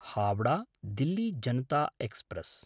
हावडा–दिल्ली Janata express